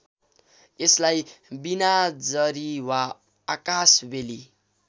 यसलाई बिनाजरी वा आकाशबेली